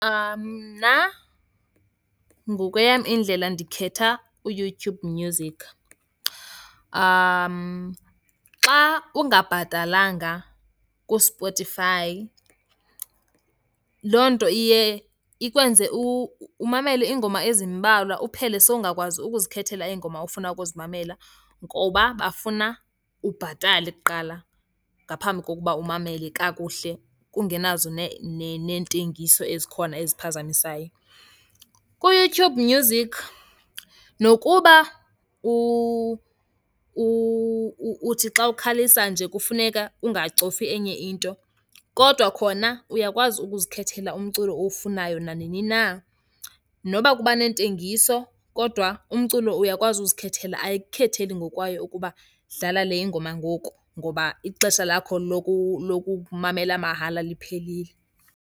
Mna ngokweyam indlela ndikhetha uYouTube Music. Xa ungabhatalanga kuSpotify, loo nto iye ikwenze umamele iingoma ezimbalwa uphele sowungakwazi ukuzikhethela iingoma ofuna ukuzimamela, ngoba bafuna ubhatale kuqala ngaphambi kokuba umamele kakuhle kungenazo neentengiso ezikhona eziphazamisayo. KuYouTube Music nokuba uthi xa ukhalisa nje kufuneka ungacofi enye into, kodwa khona uyakwazi ukuzikhethela umculo owufunayo nanini na. Noba kuba neentengiso kodwa umculo uyakwazi uzikhethela, ayikukhetheli ngokwayo ukuba dlala le ingoma ngoku ngoba ixesha lakho lokumamela mahala liphelile.